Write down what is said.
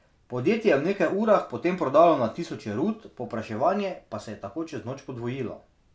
Podjetje je v nekaj urah po tem prodalo na tisoče rut, povpraševanje pa se je tako čez noč podvojilo.